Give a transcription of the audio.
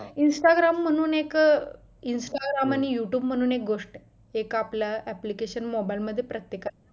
instagram म्हणून एक instagram आणि youtube म्हणून एक गोष्ट आहे एक आपला application mobile मध्ये प्रत्येक